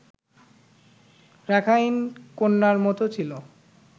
Rakhine কন্যার মতো ছিল